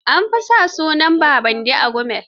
An fi sa sunan Babandi a Gumel.